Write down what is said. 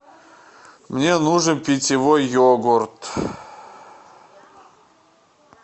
мне нужен питьевой йогурт